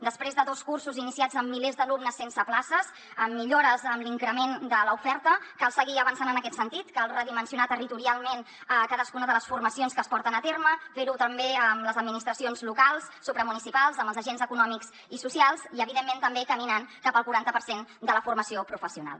després de dos cursos iniciats amb milers d’alumnes sense places amb millores en l’increment de l’oferta cal seguir avançant en aquest sentit cal redimensionar territorialment cadascuna de les formacions que es porten a terme fer ho també amb les administracions locals supramunicipals amb els agents econòmics i socials i evidentment també caminant cap al quaranta per cent de la formació professional